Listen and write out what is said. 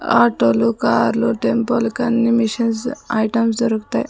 Auto లు car లు tempo లు కి అన్ని మిషన్స్ ఐటమ్స్ దొరుకుతాయ్.